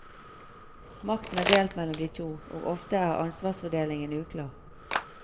Makten er delt mellom de to, og ofte er ansvarsfordelingen uklar.